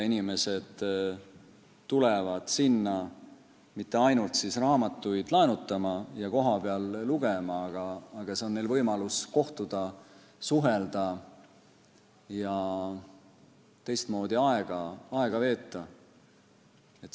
Inimesed ei tule sinna mitte ainult raamatuid laenutama ja kohapeal lugema, vaid see on nende jaoks võimalus kohtuda, suhelda ja teistmoodi aega veeta.